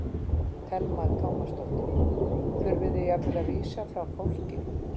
Telma Tómasdóttir: Þurfið þið jafnvel að vísa frá fólki?